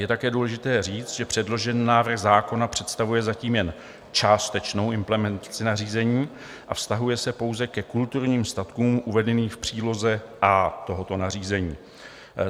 Je také důležité říct, že předložený návrh zákona představuje zatím jen částečnou implementaci nařízení a vztahuje se pouze ke kulturním statkům uvedeným v příloze A tohoto nařízení.